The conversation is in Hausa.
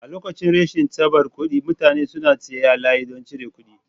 A lokacin rashin tsabar kuɗi mutane suna tsaye a layi don cire kuɗi.